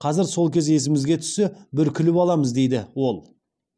қазір сол кез есімізге түссе бір күліп аламыз дейді ол